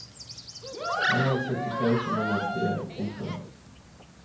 Han hadde sittet taus under måltidet. punktum